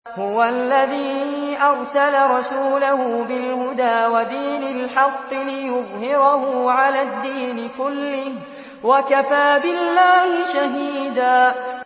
هُوَ الَّذِي أَرْسَلَ رَسُولَهُ بِالْهُدَىٰ وَدِينِ الْحَقِّ لِيُظْهِرَهُ عَلَى الدِّينِ كُلِّهِ ۚ وَكَفَىٰ بِاللَّهِ شَهِيدًا